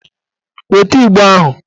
Weta Igbo ahụ!